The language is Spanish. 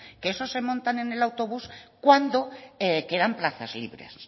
que esos se montan en el autobús cuando quedan plazas libres